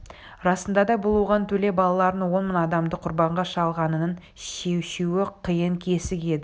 расында да бұл оған төле балаларының он мың адамды құрбанға шалғанынан шешуі қиын кесік еді